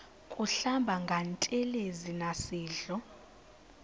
kuhlamba ngantelezi nasidlo